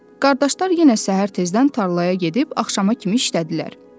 Qardaşlar yenə səhər tezdən tarlaya gedib axşama kimi işlədilər.